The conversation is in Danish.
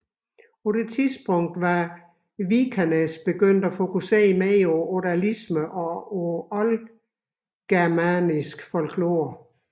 På dette tidspunkt var Vikernes begyndt at fokusere mere på odalisme og oldgermanisk folklore